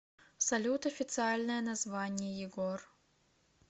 салют официальное название егор